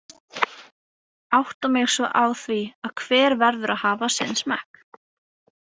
Átta mig svo á því að hver verður að hafa sinn smekk.